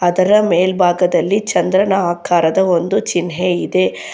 ಅದರ ಮೇಲ್ಭಾಗದಲ್ಲಿ ಚಂದ್ರನ ಆಕಾರದ ಒಂದು ಚಿನ್ಹೆ ಇದೆ.